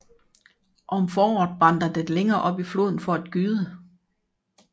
Om foråret vandrer den længere op i floden for at gyde